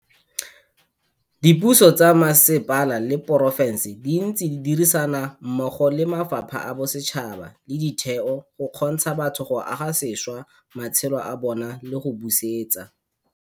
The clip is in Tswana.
Dipuso tsa mmasepala le porofense di ntse di dirisana mmogo le mafapha a bosetšhaba le ditheo go kgontsha batho go aga sešwa matshelo a bona le go busetsa.